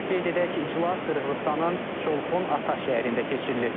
Qeyd edək ki, iclas Qırğızıstanın Çolpon Ata şəhərində keçirilir.